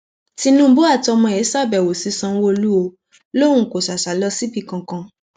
tinúbú àtọmọ ẹ ṣàbẹwò sí sanwóolú ò lóun kó sà sà lọ síbì kankan